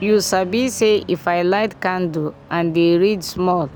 you sabi say if i light candle and dey read small